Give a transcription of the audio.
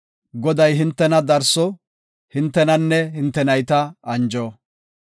Goday hintena darso; hintenanne hinte nayta anjo.